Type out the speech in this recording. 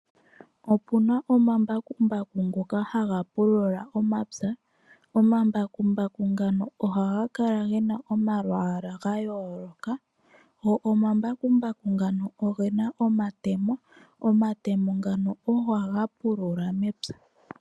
Opu na omambakumbaku ngoka haga pulula omapya. Omambakumbaku ngaka ohaga kala ge na omalwaala ga yooloka. Go omambakumbaku ngano oge na omatemo, omatemo ngano ogo haga pulula mepya.